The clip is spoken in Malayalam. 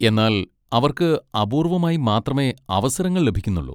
എന്നാൽ അവർക്ക് അപൂർവ്വമായി മാത്രമേ അവസരങ്ങൾ ലഭിക്കുന്നുള്ളൂ.